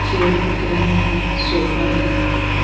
Chair दिख रहे हैं सोफा दिख रहा है।